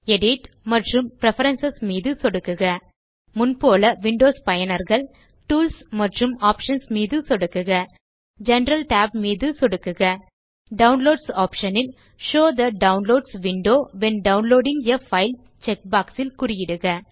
edit மற்றும் preferences மீது சொடுக்குக முன் போல் விண்டோஸ் யூசர்ஸ் டூல்ஸ் மற்றும் ஆப்ஷன்ஸ் மீது சொடுக்குக ஜெனரல் tab மீது சொடுக்குக டவுன்லோட்ஸ் ஆப்ஷன் இல் show the downloads window when downloading a file check box இல் குறியிடுக